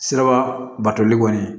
Siraba batoli kɔni